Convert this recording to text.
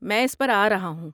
میں اس پر آ رہا ہوں۔